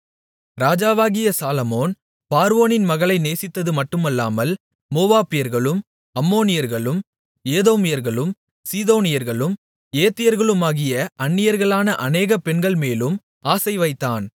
ராஜாவாகிய சாலொமோன் பார்வோனின் மகளை நேசித்ததுமட்டுமல்லாமல் மோவாபியர்களும் அம்மோனியர்களும் ஏதோமியர்களும் சீதோனியர்களும் ஏத்தியர்களுமாகிய அந்நியர்களான அநேக பெண்கள்மேலும் ஆசைவைத்தான்